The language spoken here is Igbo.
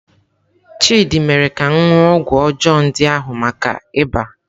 Chidị mere ka m ṅụọ ọgwụ ọjọọ ndị ahụ maka iba.